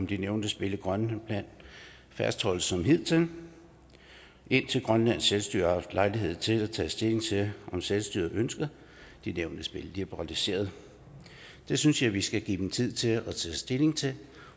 de nævnte spil i grønland fastholdes som hidtil indtil grønlands selvstyre har haft lejlighed til at tage stilling til om selvstyret ønsker de nævnte spil liberaliseret det synes jeg vi skal give dem tid til at tage stilling til